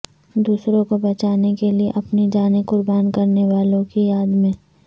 دوسروں کو بچانے کے لئے اپنی جانیں قربان کرنے والوں کی یاد میں